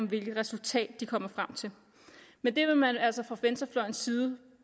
hvilket resultat de kommer frem til men det vil man altså fra venstrefløjens side